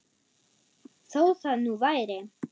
Þó það nú væri!